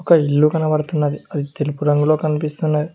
ఒక ఇల్లు కనబడుతున్నది అది తెలుపు రంగులో కనిపిస్తున్నది.